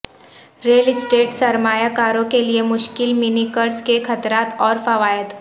rail estate سرمایہ کاروں کے لئے مشکل منی قرض کے خطرات اور فوائد